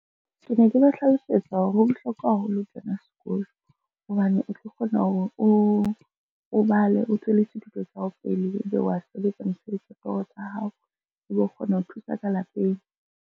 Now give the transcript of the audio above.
Ke ne ke ba hlalosetsa hore ho bohlokwa haholo ho kena sekolo, hobane o tlo kgona hore o bale, o tswellise dithuto tsa hao pele, ebe wa sebetsa mosebetsi wa toro tsa hao, ebe o kgona ho thusa ka lapeng.